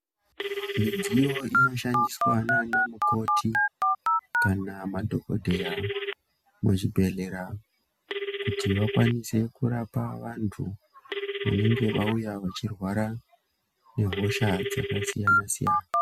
Midziyo inoshandiswa nana mukoti kana madhogodheya muzvibhedhleya. Kuti vakwanise kurapa vantu vanenge vauya vachirwara nehosha dzakasiyana-siyana.